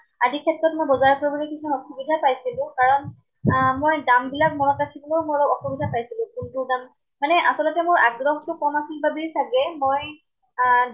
আদি ক্ষেত্ৰত মই বিজাৰ কৰিবলৈ কিছুমান অসুবিধা পাইছিলো। কাৰণ আহ মই দাম বিলাক মনত ৰাখিবলৈ মই অলপ অসুবিধা পাইছিলো। কোনটোৰ দাম, মানে আচলতে মোৰ আগ্ৰহ টো কম আছিল বাবেই চাগে মই আহ